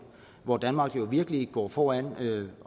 hvor danmark virkelig går foran